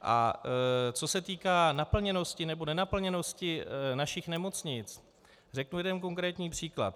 A co se týká naplněnosti nebo nenaplněnosti našich nemocnic, řeknu jeden konkrétní příklad.